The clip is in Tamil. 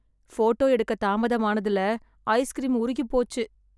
போட்டோ எடுக்க தாமதமானதுல ஐஸ்கிரீம் உருகிப் போச்சு